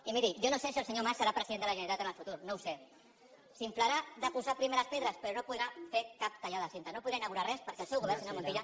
i miri jo no sé si el senyor mas serà president de la generalitat en el futur no ho sé s’inflarà de posar primeres pedres però no podrà fer cap tallada de cinta no podrà inaugurar res perquè el seu govern senyor montilla